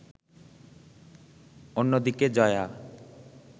অন্যদিকে জয়া